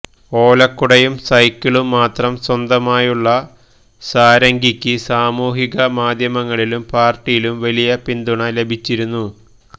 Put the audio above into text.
ഓലക്കുടയും സൈക്കിളും മാത്രം സ്വന്തമായുള്ള സാരംഗിക്ക് സാമൂഹിക മാധ്യമങ്ങളിലും പാര്ട്ടിയിലും വലിയ പിന്തുണ ലഭിച്ചിരുന്നു